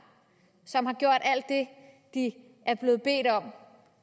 som har gjort alt det de er blevet bedt om